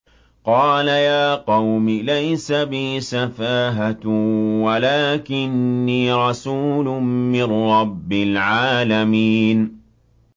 قَالَ يَا قَوْمِ لَيْسَ بِي سَفَاهَةٌ وَلَٰكِنِّي رَسُولٌ مِّن رَّبِّ الْعَالَمِينَ